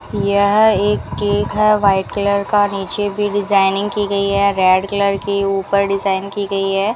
यह एक केक है वाइट कलर का नीचे भी डिजाइनिंग की गई है रेड कलर की ऊपर डिजाइन की गई है।